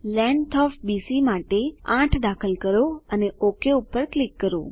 length of BC માટે 8 દાખલ કરો અને ઓક પર ક્લિક કરો